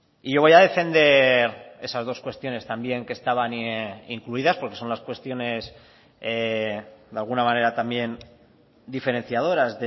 y yo voy a defender esas dos cuestiones también que estaban incluidas porque son las cuestiones de alguna manera también diferenciadoras